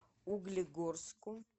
углегорску